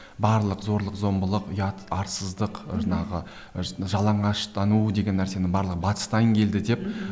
барлық зорлық зомбылық ұят арсыздық жаңағы жалаңаштану деген нәрсенің барлығы батыстан келді деп мхм